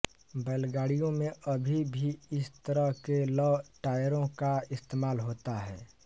बैलगाड़ियों में अभी भी इस तरह के लौह टायरों का इस्तेमाल होता है